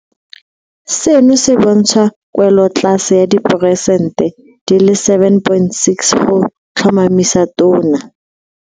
Seno se bontsha kwelotlase ya diperesente di le 7.6 go tlhomamisa Tona.